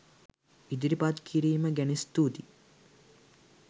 ඉදිරිපත් කීරීම ගැන ස්තුති.